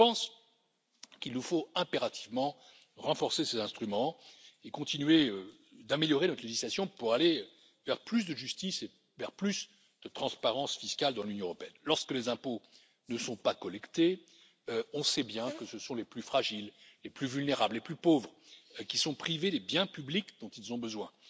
Je pense qu'il nous faut impérativement renforcer ces instruments et continuer d'améliorer notre législation pour aller vers plus de justice et vers plus de transparence fiscale dans l'Union européenne. Lorsque les impôts ne sont pas collectés, nous savons bien que ce sont les plus fragiles, les plus vulnérables, les plus pauvres qui sont privés des biens publics dont ils ont besoin.